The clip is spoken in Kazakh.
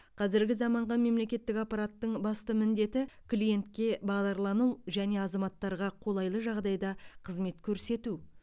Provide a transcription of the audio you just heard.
қазіргі заманғы мемлекеттік аппараттың басты міндеті клиентке бағдарлану және азаматтарға қолайлы жағдайда қызмет көрсету